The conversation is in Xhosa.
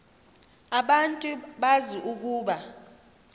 abantu bazi ukuba